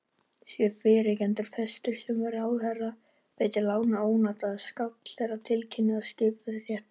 Sé fyrrgreindur frestur, sem ráðherra veitir, látinn ónotaður skal ráðherra tilkynna það skiptarétti.